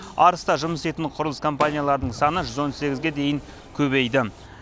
арыста жұмыс істейтін құрылыс компаниялардың саны жүз он сегізге дейін көбейді